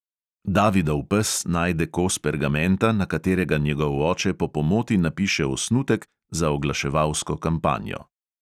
Davidov pes najde kos pergamenta, na katerega njegov oče po pomoti napiše osnutek za oglaševalsko kampanjo.